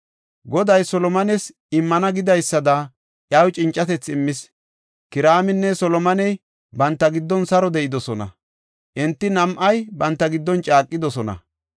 Goday Solomones immana gidaysada, iyaw cincatethi immis. Kiraaminne Solomoney banta giddon saro de7idosona; enti nam7ay banta giddon caaqidosona.